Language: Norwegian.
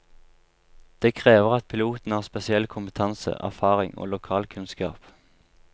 Det krever at pilotene har spesiell kompetanse, erfaring og lokalkunnskap.